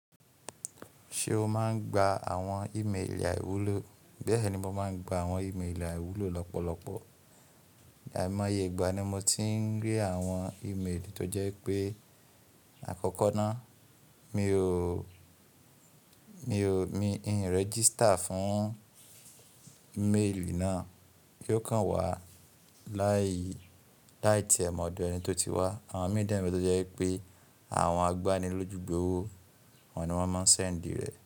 Ṣé o máa ń gba àwọn ímeèlì àìwúlò? Bẹ́ẹ̀ni, mo má ń gba àwọn ímeèlì àìwúlò lọ́pọ̀lọpọ̀. Àìmọye ìgbà ni mo ti ń rí àwọn ímeèlì tó jẹ́ wí pé àkọ́kọ́ náà mi ò, mi ò, mi ń rẹgisita fún méèlì náà, kí ó kàn wá láàyè, láì tí ẹ̀ mọ̀ ọ̀dọ̀ ẹni tó ti wá. Àwọn mi dẹ̀ ni tó jẹ́ wípé àwọn agbani lójú gbowó awọni wọn máa ń ṣẹ n di rẹ.